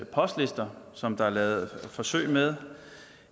postlister som der er lavet forsøg med